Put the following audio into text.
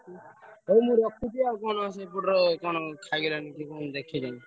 ଭାଇ ମୁଁ ରଖୁଛି ଆଉ କଣ ସେପଟରେ କଣ ଖାଇଗଲାଣି ମୁଁ ଦେଖେ ଯାଇ।